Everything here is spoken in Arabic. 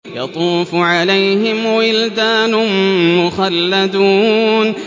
يَطُوفُ عَلَيْهِمْ وِلْدَانٌ مُّخَلَّدُونَ